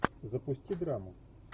запусти драму